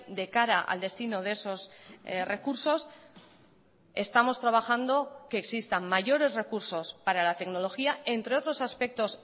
de cara al destino de esos recursos estamos trabajando que existan mayores recursos para la tecnología entre otros aspectos